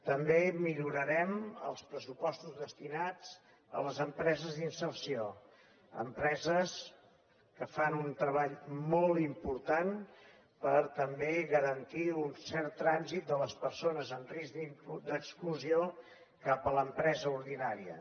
també millorarem els pressupostos destinats a les empreses d’inserció empreses que fan un treball molt important per també garantir un cert trànsit de les persones en risc d’exclusió cap a l’empresa ordinària